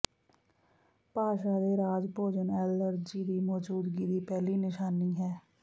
ਭਾਸ਼ਾ ਦੇ ਰਾਜ ਭੋਜਨ ਐਲਰਜੀ ਦੀ ਮੌਜੂਦਗੀ ਦੀ ਪਹਿਲੀ ਨਿਸ਼ਾਨੀ ਹੈ